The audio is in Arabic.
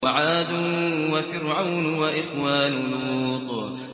وَعَادٌ وَفِرْعَوْنُ وَإِخْوَانُ لُوطٍ